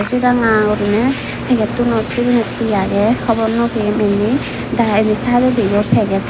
se ranga gurine packetunot sebanit he age hobor no pem indi da indi sideodi yo packet.